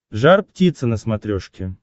жар птица на смотрешке